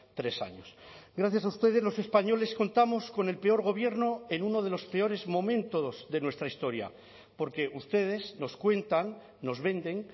tres años gracias a ustedes los españoles contamos con el peor gobierno en uno de los peores momentos de nuestra historia porque ustedes nos cuentan nos venden